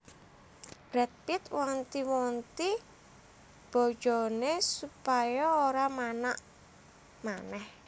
Brad Pitt wanti wanti bojone supaya ora manak maneh